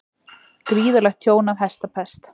Gríðarlegt tjón af hestapest